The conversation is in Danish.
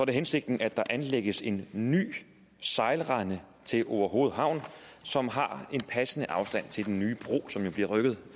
det hensigten at der anlægges en ny sejlrende til orehoved havn som har en passende afstand til den nye bro som jo bliver rykket